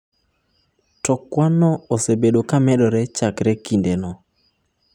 To kwanno osebedo ka medore chakre kindeno.